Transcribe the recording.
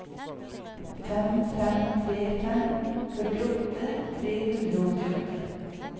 fem fem tre fem førtiåtte tre hundre og åttiåtte